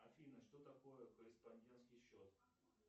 афина что такое корреспондентский счет